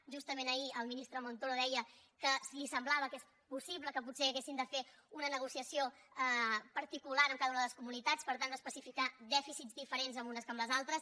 justament ahir el ministre montoro deia que li semblava que és possible que potser hagin de fer una negociació particular amb cada una de les comunitats per tant d’especificar dèficits diferents en unes que en les altres